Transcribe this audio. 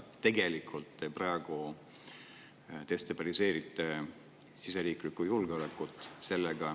Tegelikult te praegu destabiliseerite siseriiklikku julgeolekut.